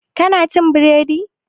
Ki na cin biredi?